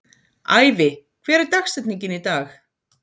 Ævi, hver er dagsetningin í dag?